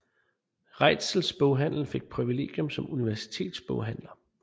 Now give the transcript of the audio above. Reitzels boghandel fik privilegium som universitetsboghandler